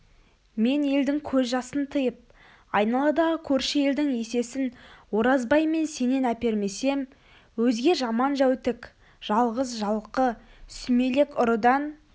мен елдің көз жасын тыйып айналадағы көрші елдің есесін оразбай мен сенен әпермесем өзге жаман-жәутік жалғыз-жалқы сүмелек ұрыдан